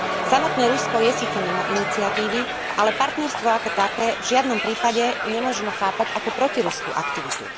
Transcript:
Samotné Rusko je síce mimo iniciatívy, ale partnerstvo ako také v žiadnom prípade nemožno chápať ako protiruskú aktivitu.